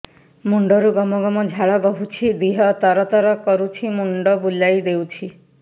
ମୁଣ୍ଡରୁ ଗମ ଗମ ଝାଳ ବହୁଛି ଦିହ ତର ତର କରୁଛି ମୁଣ୍ଡ ବୁଲାଇ ଦେଉଛି